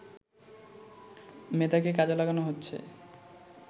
মেধাকে কাজে লাগানো হচ্ছে